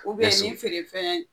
U bɛ ni feerefɛn